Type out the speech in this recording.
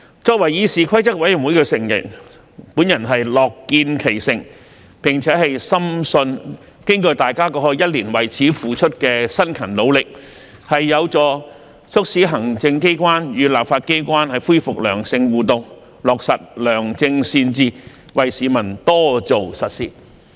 作為議事規則委員會的成員，我樂見其成，並且深信經過大家過去一年為此付出的辛勤努力，有助促使行政機關與立法機關恢復良性互動，落實良政善治，為市民多做實事。